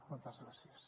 moltes gràcies